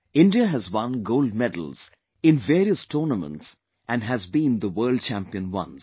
India has won gold medals in various tournaments and has been the World Champion once